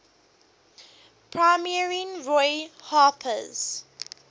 premiering roy harper's